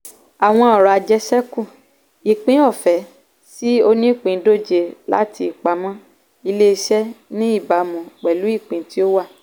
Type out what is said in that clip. àwọn ọrọ̀ ajésekú - ìpín ọ̀fẹ́ sí onípìndóje láti ìpamọ́ ilé-iṣẹ́ ní ìbámu pẹ̀lú ìpín tí ó wà.